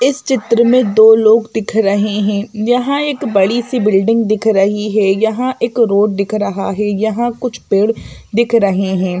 इस चित्र में दो लोग दिख रहे हैं यहां एक बड़ी सी बिल्डिंग दिख रही है यहां एक रोड दिख रहा है यहां कुछ पेड़ दिख रहे हैं।